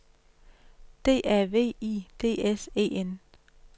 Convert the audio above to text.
D A V I D S E N